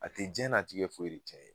A tɛ diɲɛnatigɛ foyi de caya